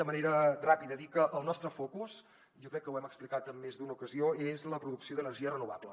de manera ràpida dir que el nostre focus jo crec que ho hem explicat en més d’una ocasió és la producció d’energia renovable